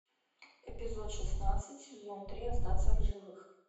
эпизод шестнадцать сезон три остаться в живых